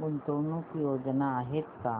गुंतवणूक योजना आहेत का